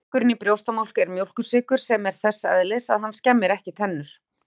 Sykurinn í brjóstamjólk er mjólkursykur sem er þess eðlis að hann skemmir ekki tennur.